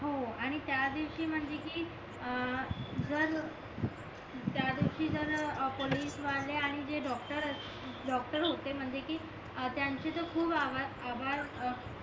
हो आणि त्या दिवशी म्हणजे कि अं जर त्या दिवशी जर अ पोलीस वाले आणि जे डॉक्टर असं डॉक्टर होते म्हणजे कि त्यांचे तर खूप आभार